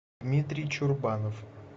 дмитрий чурбанов